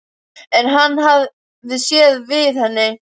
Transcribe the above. En hann hafði séð við henni.